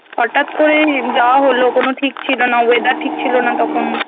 হটাৎ করেই যাওয়া হলো কোনো ঠিক ছিল না weathere ঠিক ছিল না তখন